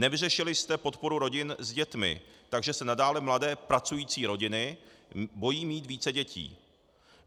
Nevyřešili jste podporu rodin s dětmi, takže se nadále mladé pracující rodiny bojí mít více dětí.